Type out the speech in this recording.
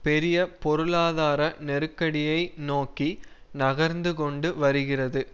பெரிய பொருளாதார நெருக்கடியை நோக்கி நகர்ந்து கொண்டு வருகிறது